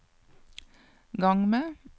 gang med